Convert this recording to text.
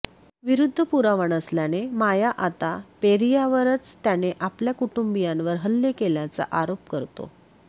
विरुद्ध पुरावा नसल्याने माया आता पेरियावरच त्याने आपल्या कुटुंबियांवर हल्ले केल्याचा आरोप करतो